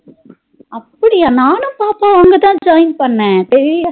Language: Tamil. அப்டியா நானும் பாப்பாவா அங்க தா join பண்ண